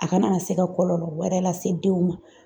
A kana na se ka kɔlɔlɔ wɛrɛ lase denw ma.